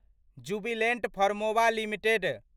Jubilant Pharmova limited